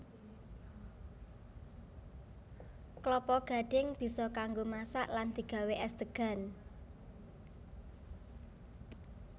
Klapa gadhing bisa kanggo masak lan digawé és degan